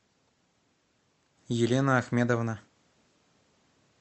елена ахмедовна